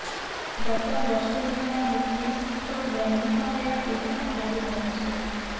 ଗତ ବର୍ଷେ ହେଲା ମୁକେଶଙ୍କ ଦୈନିକ ଆୟ ଏହି ହାରରେ ରହିଛି